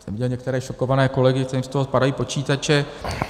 Jsem viděl některé šokované kolegy, těm z toho padají počítače...